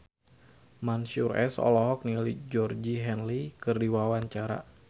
Mansyur S olohok ningali Georgie Henley keur diwawancara